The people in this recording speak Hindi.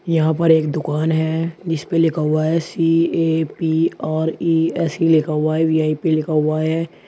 यहां पर एक दुकान है जीसपे लिखा हुआ है सी_ए_पी_आर_इ_एस_इ ऐसे लिखा हुआ है वी_आई_पी लिखा हुआ है।